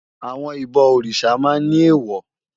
Àwòn ibò órisá mà n ni éwò